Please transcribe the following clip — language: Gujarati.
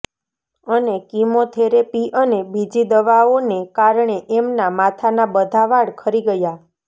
અને કીમો થેરેપી અને બીજી દવાઓને કારણે એમના માથાના બધા વાળ ખરી ગયા